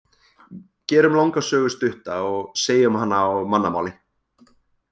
Gerum langa sögu stutta og segjum hana á mannamáli.